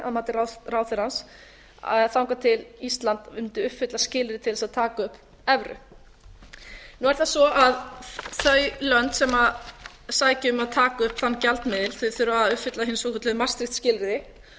að hald mati að mati ráðherrans þangað til ísland mundi uppfylla skilyrði til að taka upp evru nú er það svo að þau lönd sem sækja um að taka upp þann gjaldmiðil þurfa að uppfylla hin svokölluðu maastricht skilyrði